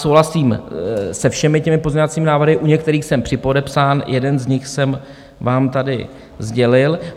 Souhlasím se všemi těmi pozměňovacími návrhy, u některých jsem připodepsán, jeden z nich jsem vám tady sdělil.